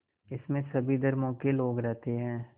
इसमें सभी धर्मों के लोग रहते हैं